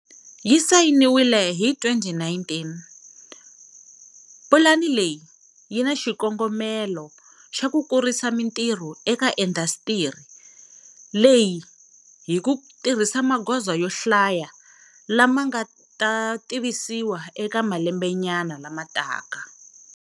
Yi sayiniwile hi 2019, pulani leyi yi na xikongomelo xa ku kurisa mitirho eka indasitiri leyi hi ku tirhisa magoza yo hlaya lama nga ta tivisiwa eka malembenyana lama taka.